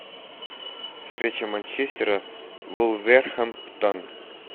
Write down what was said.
встреча манчестера вулверхэмптон